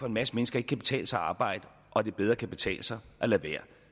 en masse mennesker ikke kan betale sig at arbejde og at det bedre kan betale sig at lade være